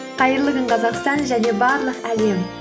қайырлы күн қазақстан және барлық әлем